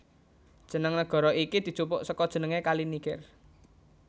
Jeneng nagara iki dijupuk saka jenengé Kali Niger